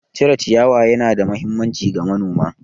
Cire ciyawa ya na da mahimmanci ga manoma